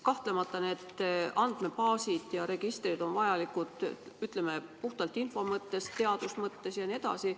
Kahtlemata, need andmebaasid ja registrid on vajalikud, ütleme, puhtalt info mõttes, teaduse mõttes jne.